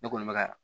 Ne kɔni bɛ ka